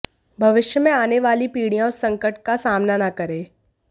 भविष्य में आने वाली पीढ़ियां उस संकट का सामना ना करें